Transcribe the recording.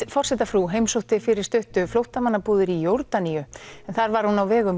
forsetafrú heimsótti fyrir stuttu flóttamannabúðir í Jórdaníu en þar var hún á vegum